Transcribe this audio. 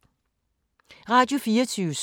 Radio24syv